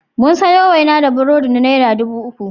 Mun sayo waina da burodi na naira dubu uku.